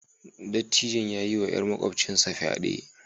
Dattijon ya yiwa 'yar makwabcinsa fyade